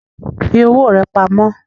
Fi owó rà pamó